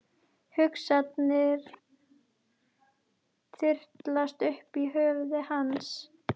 Hugsanir þyrlast um í höfði hans.